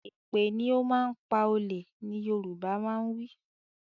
Èpè ni ó máa ń pa olè ni Yorùbá máa ń wí